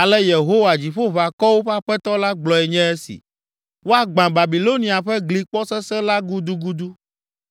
Ale Yehowa, Dziƒoʋakɔwo ƒe Aƒetɔ la gblɔe nye esi: “Woagbã Babilonia ƒe glikpɔ sesẽ la gudugudu